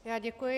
Já děkuji.